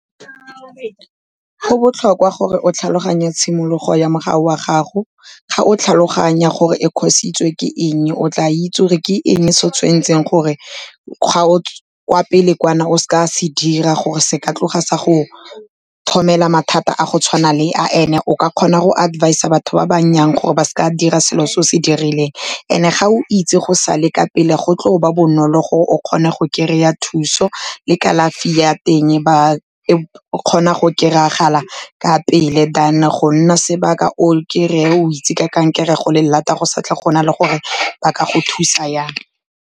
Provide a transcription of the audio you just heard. Go botlhokwa gore o tlhaloganye tshimologo ya wa gago, ga o tlhaloganya gore e cause-itswe ke eng e, o tla itse gore ke eng e se o tshwan'tseng kwa pele kwa na o seka a se dira, gore se ka tloga sa go tlhomela mathata a go tshwana le a and-e o ka kgona go advisor batho ba gore ba seka dira selo se o se dirileng, and-e ga o itse go sa le ka pele go tlo ba bonolo gore o kgone go kry-a thuso le kalafi ya teng, ba kgona go kry-agala ka pele than go nna sebaka o kry-a o itse ka kankere go le lata, go sa tle go na le gore ba ka go thusa jang.